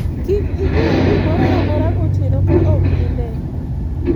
kik inyiew gimoro amora gotieno ka ok ine